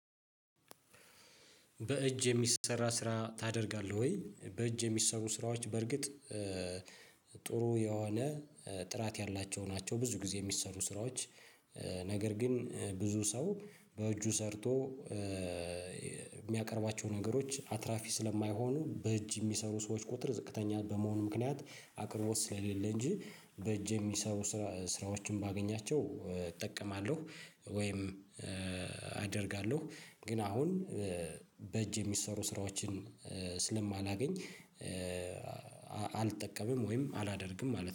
በእጅ የሚሰራ ስራ ታደርጋለህ ወይ? በእጅ የሚሰሩ ስራዎች በርግጥ ጥሩ የሆነ ጥራት ያላቸው ናቸው ብዙ ጊዜ የሚሰሩ ስራዎች። ነገር ግን ብዙ ሰው በእጁ ሰርቶ የሚያቀርባቸው ነገሮች አትራፊ ስለማይሆኑ በእጅ የሚሰሩ ሰዎች ቁጥር ዝቅተኛ በመሆኑ ምክንያት አቅርቦት ስለሌለ እንጂ በእጅ የሚሰሩ ስራዎችን ባገኛቸው እጠቀማለሁ። ወይም አደርጋለሁ ግን አሁን በእጅ የሚሰሩ ስራዎችን ስለማላገኝ አልጠቀምም ወይም አላደርግም ማለት ነው